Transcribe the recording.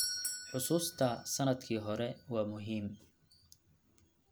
Xusuusta sannadkii hore waa muhiim.